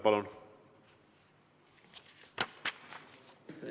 Palun!